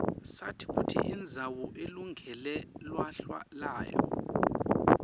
sati kutsi indzawo ilungele lwhlalwa layo